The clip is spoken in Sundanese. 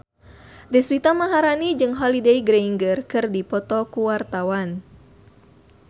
Deswita Maharani jeung Holliday Grainger keur dipoto ku wartawan